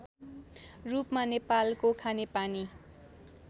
रूपमा नेपालको खानेपानी